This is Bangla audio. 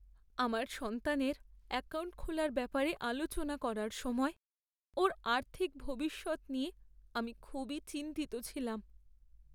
আমার সন্তানের অ্যাকাউন্ট খোলার ব্যাপারে আলোচনা করার সময় ওর আর্থিক ভবিষ্যৎ নিয়ে আমি খুবই চিন্তিত ছিলাম।